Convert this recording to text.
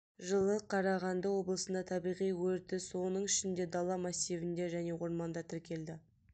жылы қарағанды облысында табиғи өрті соның ішінде дала массивінде және орманда тіркелді